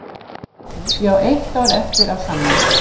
Ég á eitt ár eftir af samning.